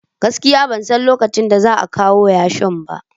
Gaskiya ban san lokacin da za a kawo yashin ba